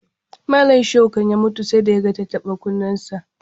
Malam Shaihu kan ya mutu sai da ya ga tattaɓa-kunnensa.